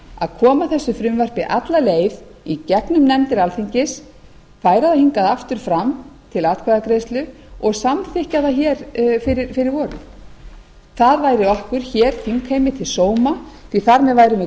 að koma þessu frumvarpi alla leið í gegnum nefndir alþingis færa það hingað aftur fram til atkvæðagreiðslu og samþykkja það hér fyrir vorið það væri okkur hér þingheimi til sóma því að þar með værum við